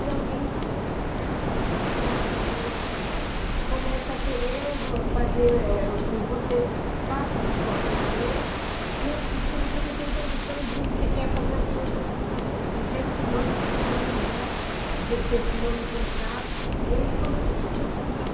e alguém, acho que deve ser quase igual aos políticos, começa a querer fazer o eh que você faça de qualquer maneira e se você não tem condições, se você quer fazer as coisas do jeito que manda o figurino, né, do jeito que você assinou no contrato, eles começam a te perseguir.